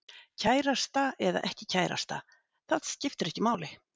Kærasta eða ekki kærasta, það skiptir ekki máli.